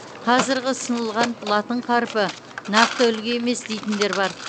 қазіргі ұсынылған латын қарпі нақты үлгі емес дейтіндер бар